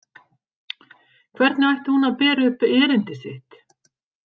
Hvernig ætti hún að bera upp erindi sitt?